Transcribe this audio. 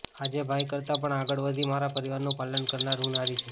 આજે ભાઇ કરતાં પણ આગળ વધી મારા પરિવારનું પાલન કરનાર હું નારી છું